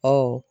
Ɔ